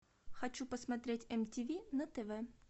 хочу посмотреть мтв на тв